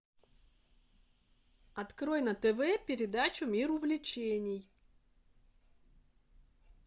открой на тв передачу мир увлечений